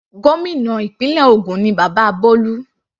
Gómìnà ìpínlẹ̀ ògùn ni bàbá Bolu.